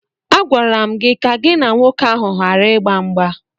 Agwara m gị ka gị na nwoke ahụ gbara ịgba mgba!